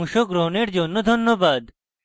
অংশগ্রহনের জন্য ধন্যবাদ